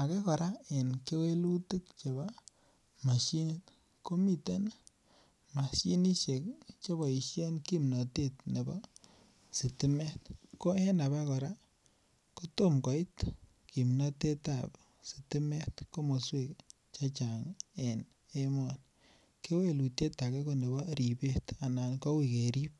ake kora en kewelutik chebo mashinit ko miten mashinisiek Che keboisien kimnatet nebo sitimet ko en abakora ko tom kimnatet ab sitimet komoswek en emoni kewelutiet ake ko nebo ribet anan koui kerib